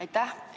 Aitäh!